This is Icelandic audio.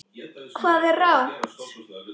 Hvað er rangt?